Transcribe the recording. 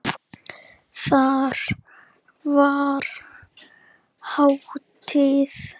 Þar var hátíð.